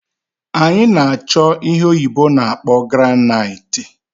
Anyi na-acho ihe oyibo na-akpo granite